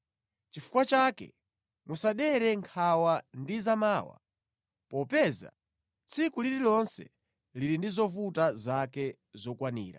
Chifukwa chake musadere nkhawa ndi za mawa, popeza tsiku lililonse lili ndi zovuta zake zokwanira.